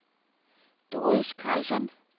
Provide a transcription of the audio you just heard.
Doris Karlsson